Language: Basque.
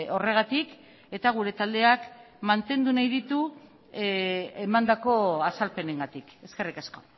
horregatik eta gure taldeak mantendu nahi ditu emandako azalpenengatik eskerrik asko